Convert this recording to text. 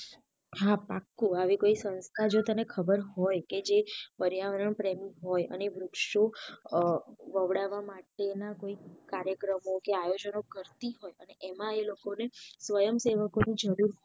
હા પાકું આવી કોઈ સંસ્થા તને ખબર હોય કે જે પર્યાવરણ પ્રેમી હોય અને વૃક્ષો વવડાવા માટે ના કોઈ કાર્યકમો આયોજનો કરતી હોય અને એમાં એમને સ્વયંસેવકો ની જરૂર